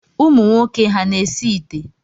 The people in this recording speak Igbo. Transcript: Ụmụnwoke ha na-esi ite?